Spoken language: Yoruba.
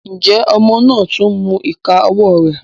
Njẹ ọmọ náà tún n mú ìká ọwọ rẹ?